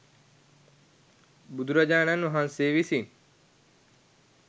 බුදුරජාණන් වහන්සේ විසින්.